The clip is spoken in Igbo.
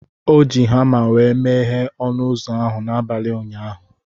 O ji hama wee meghe ọnụ ụzọ ahụ n'abalị ụnyaahụ.